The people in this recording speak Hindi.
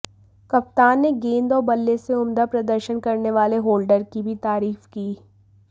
कप्तान ने गेंद और बल्ले से उम्दा प्रदर्शन करने वाले होल्डर की भी तारीफ की